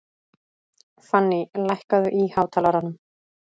Fanný, lækkaðu í hátalaranum.